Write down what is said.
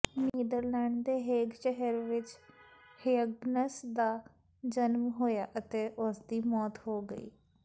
Netherlands ਦੇ Hague ਸ਼ਹਿਰ ਵਿੱਚ ਹਯੱਗਨਸ ਦਾ ਜਨਮ ਹੋਇਆ ਅਤੇ ਉਸਦੀ ਮੌਤ ਹੋ ਗਈ